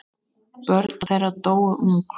Börn þeirra dóu ung.